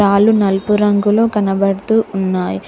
కాళ్ళు నలుపు రంగులో కనబడుతూ ఉన్నాయ్.